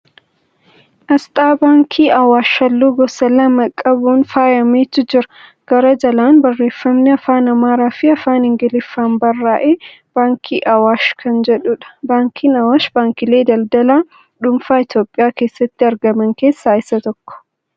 Asxaa baankii Awwaash halluu gosa lama qabuun faaayametu jira. Gara jalaan Barreeffamni Afaan Amaaraa fi Afaan Ingiliffaan barraa'ee 'Baankii Awwaash' kan jedhudha. Baankiin Awwaash baankiilee daldalaa dhuunfaa Itiyoophiyaa keessatti argaman keessaa isa tokko.